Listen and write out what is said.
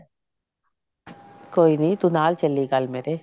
ਕੋਈ ਨਹੀਂ ਤੂੰ ਨਾਲ ਚਲੀ ਕੱਲ ਮੇਰੇ